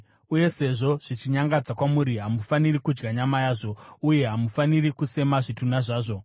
Uye sezvo zvichinyangadza kwamuri hamufaniri kudya nyama yazvo uye munofanira kusema zvitunha zvazvo.